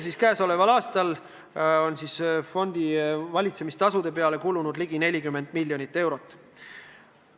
Sel aastal on fondi valitsemise tasude peale kulunud ligi 40 miljonit eurot.